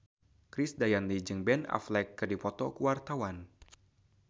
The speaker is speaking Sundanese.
Krisdayanti jeung Ben Affleck keur dipoto ku wartawan